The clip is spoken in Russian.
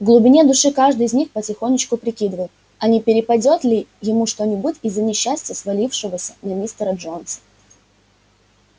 в глубине души каждый из них потихонечку прикидывал а не перепадёт ли ему что-нибудь из-за несчастья свалившегося на мистера джонса